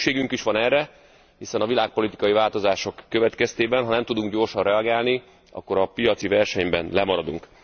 Szükségünk is van erre, hiszen a világpolitikai változások következtében, ha nem tudunk gyorsan reagálni, akkor a piaci versenyben lemaradunk.